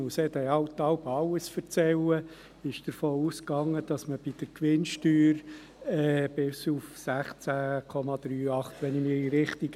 Denn in der Steuerstrategie wurde davon ausgegangen, dass man – wenn ich mich richtig erinnere – bei der Gewinnsteuer bis auf 16,38 Prozent geht.